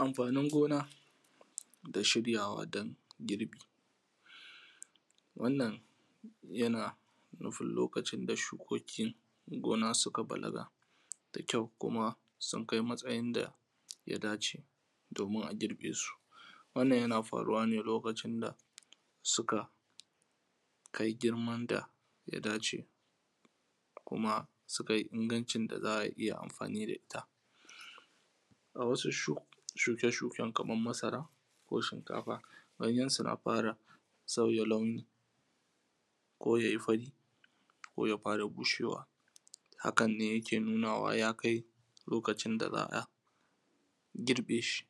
Amfanin gona, da shiryawa don girbi. Wannan yana nufin lokacin da suko ki gona suka balaga, da kyau kuma sunkai matsayin da yadace, domin a girbesu. Wannan yana faruwane lokacin da suka ka kai girman da ya dace. Kuma sukai inganci daza’a iya amfani da ita. A wasu shuk shuke shuken kamar masara ko shinkafa, ganyensu na fara sauya launi ko yayi fari ko ya fara bushewa. Hakan ne yake nunawa yakai lokacin daza’a girbeshi.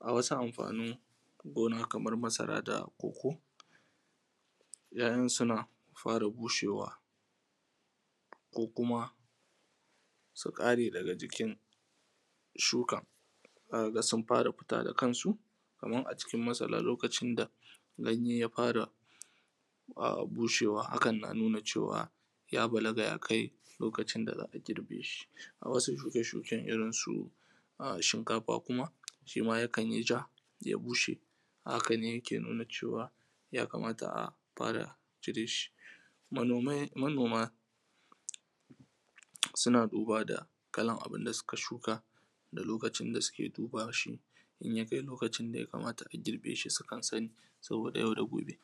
A wasu amfanin gona kamar masara da koko, ya’yansu na fara bushewa ko kuma ƙare daga jikin sukan. Zaka ga sun fara futa da kansu, kaman acikin masara lokacin da ganyen yafara bushewa hakan na nuna cewa ya balaga yakai lokacin da za’a girbesu. A wasu shuke shuken irin su, shinkafa kuma shima yakanyi ja ya bushe, kane yake nuna cewa yakamata a fara cireshi. Manomai manoma, suna duba da kalan abinda suka shuka da lokacin da suke dubashi, inyake lokacin da yakamata a girbeshi sukan sani. Saboda yau da gobe.